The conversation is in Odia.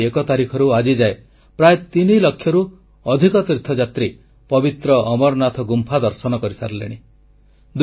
ଜୁଲାଇ ଏକ ତାରିଖରୁ ଆଜିଯାଏ ପ୍ରାୟ ତିନିଲକ୍ଷରୁ ଅଧିକ ତୀର୍ଥଯାତ୍ରୀ ପବିତ୍ର ଅମରନାଥ ଗୁମ୍ଫା ଦର୍ଶନ କରିସାରିଲେଣି